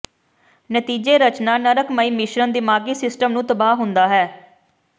ਨਤੀਜੇ ਰਚਨਾ ਨਰਕਮਈ ਮਿਸ਼ਰਣ ਦਿਮਾਗੀ ਸਿਸਟਮ ਨੂੰ ਤਬਾਹ ਹੁੰਦਾ ਹੈ